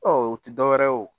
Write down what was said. u tɛ dɔwɛrɛ ye o.